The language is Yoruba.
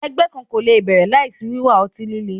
Ẹgbẹ kan ko le bẹrẹ laisi wiwa ọti-lile